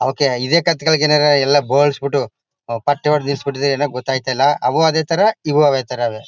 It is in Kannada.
ಓಕೆ ಇದೇ ಕತ್ತೆಗಳಿಗೇನಲ್ಲ ಎಲ್ಲ ಬೋಳಿಸಿಬಿಟ್ಟು ಪಟ್ಟೆ ಹೊಡೆದು ನಿಲ್ಲಿಸಿ ಬಿಟ್ಟಿದಾರೋ ಏನೋ ಗೊತ್ತಾಗ್ತಾ ಇಲ್ಲ ಅವು ಅದೇ ತರ ಇವು ಅದೇ ತರಅವೇ.